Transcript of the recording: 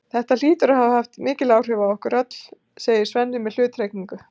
Þetta hlýtur að hafa haft mikil áhrif á ykkur öll, segir Svenni með hluttekningu.